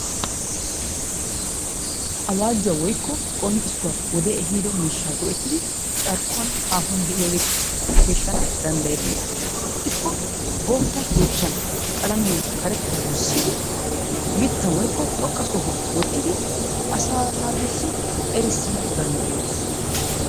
Awaajuwaa woykko qonccisuwaa wodde ehiddo miishshaa go'ettidi carkkuwan haahuwan deiyaagetussi peeshshana dandayettes. Ixikko bootta yeechchan qallamiyaa gussidi mitta woykko xoqqa sohuwaani wottidi asaa naatusi erssana danddayettes.